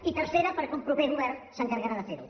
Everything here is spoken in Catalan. i tercera perquè un proper govern s’encarregarà de fer ho